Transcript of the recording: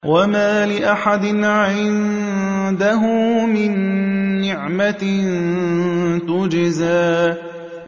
وَمَا لِأَحَدٍ عِندَهُ مِن نِّعْمَةٍ تُجْزَىٰ